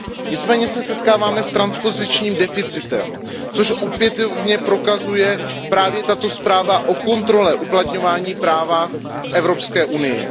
Nicméně se setkáváme s transpozičním deficitem, což opětovně prokazuje právě tato zpráva o kontrole uplatňování práva v Evropské unii.